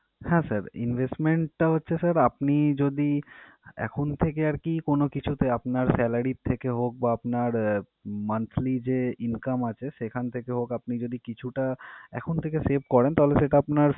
হ্যাঁ sir, invesment টা হচ্ছে sir আপনি যদি এখন থেকে আরকি কোন কিছুতে আপনার salary র থেকে হোক বা আপনার আহ monthly যে income আছে সেখান থেকে হোক আপনি যদি কিছুটা এখন থেকে save করেন, তাহলে সেটা আপনার